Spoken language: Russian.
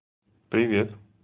привет